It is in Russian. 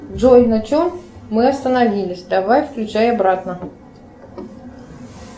джой на чем мы остановились давай включай обратно